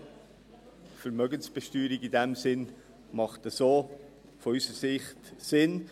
Eine Vermögenssteuer auf Dividenden macht unserer Ansicht nach so Sinn.